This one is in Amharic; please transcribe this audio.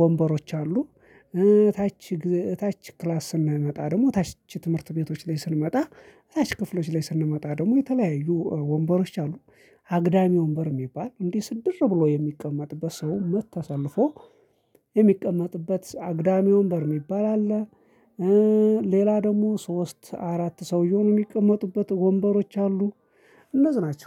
ወንበሮች አሉ። ታች ታች ክላስ ስንመጣ ደግሞ ታች ትምህርት ቤቶች ላይ ስንመጣ ታች ክፍሎች ላይ ስንመጣ ደግሞ የተለያዩ ወንበሮች አሉ። አግዳሚ ወንበር የሚባል እንዲህ ስድር ብሎ የሚቀመጥበት ሰው መት ተሰልፎ የሚቀመጥበት አግዳሚ ወንበር የሚባል አለ። ሌላ ደግሞ ሶስት አራት ሰው የሚቀመጡበት ወንበሮች አሉ። እነዚህ ናቸው